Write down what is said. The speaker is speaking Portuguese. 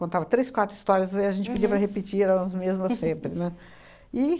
Contava três, quatro histórias e a gente pedia para repetir as mesmas sempre, né, e